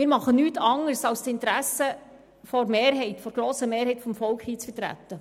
Wir tun nichts anderes, als das Interesse der grossen Mehrheit des Volks zu vertreten.